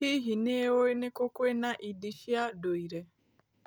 Hihi, nĩ ũĩ nĩ kũ kwĩna indi cia ndũire?